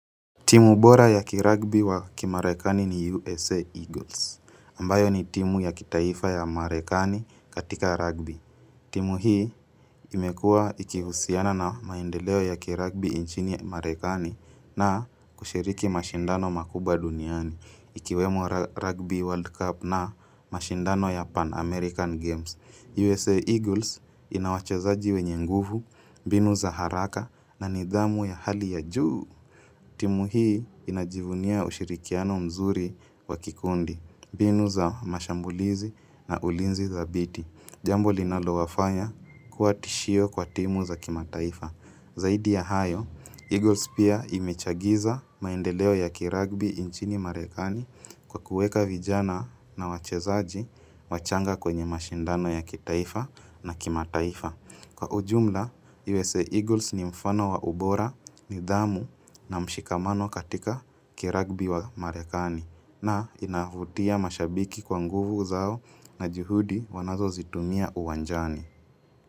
Timu bora ya kiragbi wa kimarekani ni USA Eagles, ambayo ni timu ya kitaifa ya marekani katika rugby. Timu hii imekua ikihusiana na maendeleo ya kiragbi inchini ya marekani na kushiriki mashindano makubwa duniani, ikiwemo rugby world cup na mashindano ya Pan-American games. USA Eagles inawachezaji wenye nguvu, binu za haraka na nidhamu ya hali ya juu. Timu hii inajivunia ushirikiano mzuri wakikundi, binu za mashambulizi na ulinzi dhabiti. Jambo linalo wafanya kuwa tishio kwa timu za kimataifa. Zaidi ya hayo, Eagles pia imechagiza maendeleo ya kiragbi inchini marekani kwa kueka vijana na wachezaji wachanga kwenye mashindano ya kitaifa na kimataifa. Mshikamano katika kiragbi wa marekani na inavutia mashabiki kwa nguvu zao na juhudi wanazo zitumia uwanjani.